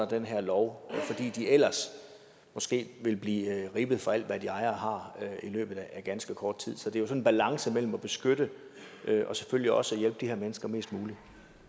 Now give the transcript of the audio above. den her lov fordi de ellers måske ville blive rippet for alt hvad de ejer og har i løbet af ganske kort tid så det er jo sådan en balance mellem at beskytte og selvfølgelig også at hjælpe de her mennesker mest muligt